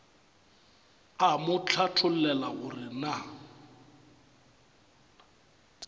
a mo hlathollela gore na